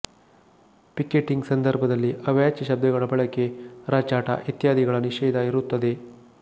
picketing ಸಂದರ್ಭದಲ್ಲಿ ಅವಾಚ್ಯ ಶಬ್ದಗಳ ಬಳಕೆಅರಚಾಟ ಇತ್ಯಾದಿಗಳ ನಿಷೇಧ ಇರುತ್ತದೆ